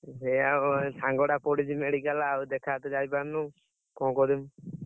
ସେଇଆ ଆଉ ସାଙ୍ଗ ଟା ପଡିଛି medical ରେ ଆଉ ଦେଖା କରତେ ଯାଇପାରୁନୁ, କଣ କରିବି?